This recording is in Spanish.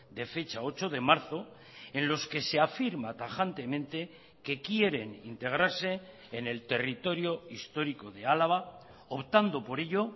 de fecha ocho de marzo en los que se afirma tajantemente que quieren integrarse en el territorio histórico de álava optando por ello